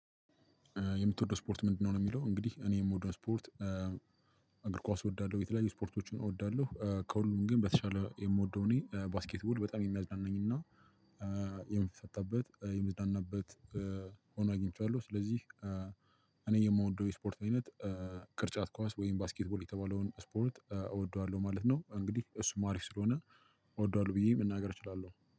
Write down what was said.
የምትወደው ስፖርት ምንድነው ነው የሚለው እንግዲህ እኔ የምወደው ስፖርት እግር ኳስ እወዳለሁ የተለያዩ ስፖርቶችን እወዳለሁ። ከሁሉም ግን በተሻለ የምወደው እኔ ባስኬትቦል በጣም የሚያዝናናኝና የመጣንበት ሆኖ አግንቸዋለሁ። ስለዚህ እኔ የምወደው የስፖርት አይነት ቅርጫት ኳስ ወይም ባስኬት ቦል የተባለውን ስፖርት እወደዋለሁ ማለት ነው። እሱም ሀሪፍ ስለሆነ እወደዋለሁ ብየ መናገር እችላለሁ።